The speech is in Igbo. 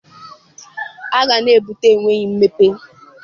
Agha na-ebute enweghị mmepe.